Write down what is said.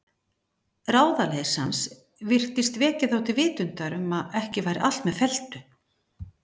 Ráðaleysi hans virtist vekja þá til vitundar um að ekki væri allt með felldu.